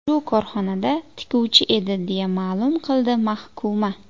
Shu korxonada tikuvchi edi”, deya ma’lum qildi mahkuma.